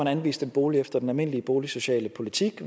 anvist en bolig efter den almindelige boligsociale politik